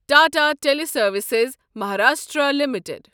Tata teleservices Maharashtra limited